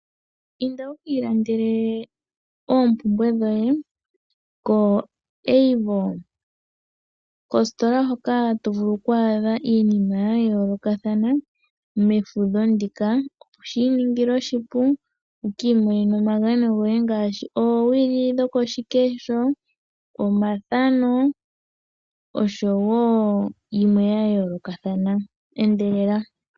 Inda wukiilandele oompumbwe dhoye koAvo kositola hoka to vulu okwaadha iinima ya yoolokothana mefudho ndika. Shiiningila oshipu wuki imonene iinima yoye ngaashi oowili dhoko shikesho, omathano, oshowo yimwe ya yoolokothana endelela.